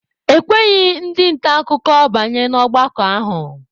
E kweghị ndị nta akụkọ banye n'ọgbakọ ahụ.